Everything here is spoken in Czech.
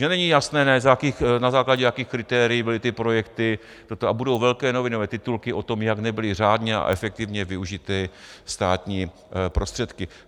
Že není jasné, na základě jakých kritérií byly ty projekty, a budou velké novinové titulky o tom, jak nebyly řádně a efektivně využity státní prostředky.